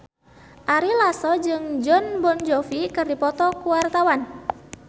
Ari Lasso jeung Jon Bon Jovi keur dipoto ku wartawan